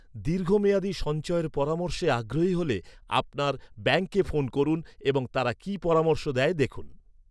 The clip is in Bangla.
দীর্ঘমেয়াদী সঞ্চয়ের পরামর্শে আগ্রহী হলে আপনার ব্যাঙ্কে ফোন করুন এবং তারা কি পরামর্শ দেয় দেখুন।